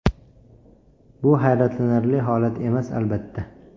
Bu hayratlanarli holat emas, albatta.